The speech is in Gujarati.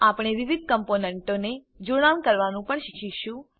આપણે વિવિધ કમ્પોનન્ટોને જોડાણ કરવાનું પણ શીખીશું